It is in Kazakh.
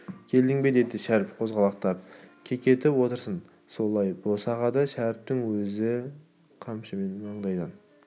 келдің бе деді шәріп қозғалақтап кекетіп отырсын солай босағада шәріптің сөзі қамшымен маңдайдан